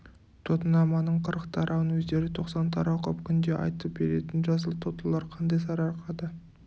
тотынаманың қырық тарауын өздері тоқсан тарау қып күнде айтып беретін жасыл тотылар қандай сарыарқада